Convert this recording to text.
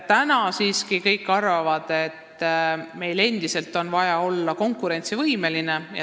Täna siiski kõik arvavad, et meil on endiselt vaja olla konkurentsivõimeline.